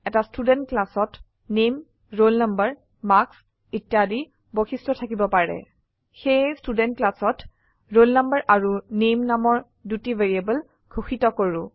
এটা ষ্টুডেণ্ট ক্লাসত নামে ৰোল নাম্বাৰ মাৰ্কছ ইত্যাদি বৈশিষ্ট্য থাকিব পাৰে সেয়ে ষ্টুডেণ্ট ক্লাসত ৰোল নাম্বাৰ আৰু নামে নামৰ দুটি ভ্যাৰিয়েবল ঘোষিত কৰো